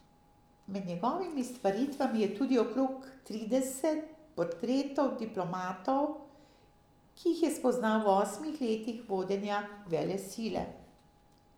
Med njegovimi stvaritvami je tudi okrog trideset portretov diplomatov, ki jih je spoznal v osmih letih vodenja velesile.